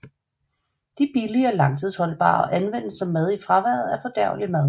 De er billige og langtidsholdbare og anvendes som mad i fraværet af fordærvelig mad